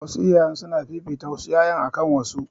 Wasu iyayen suna fifita wasu ƴaƴan akan wasu